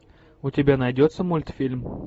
у тебя найдется мультфильм